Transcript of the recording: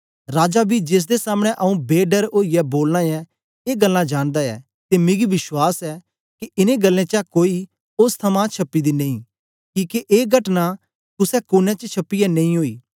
राजा बी जेसदे सामने आंऊँ बे डर ओईयै बोलाना ऐ ए गल्लां जानदा ऐ ते मिगी विश्वास ऐ के इनें गल्लें चा कोई ओस थमां छ्प्पी दी नेई किके ए घटना कुसे कोने च छपीयै नेई ओई